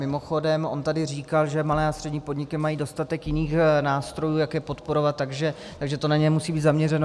Mimochodem on tady říkal, že malé a střední podniky mají dostatek jiných nástrojů, jak je podporovat, takže to na ně nemusí být zaměřeno.